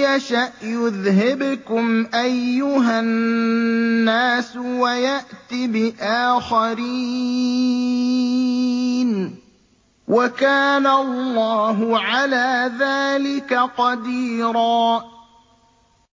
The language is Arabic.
يَشَأْ يُذْهِبْكُمْ أَيُّهَا النَّاسُ وَيَأْتِ بِآخَرِينَ ۚ وَكَانَ اللَّهُ عَلَىٰ ذَٰلِكَ قَدِيرًا